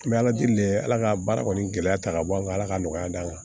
N bɛ ala deli dɛ ala ka baara kɔni gɛlɛya ta ka bɔ an ka ala ka nɔgɔya d'an kan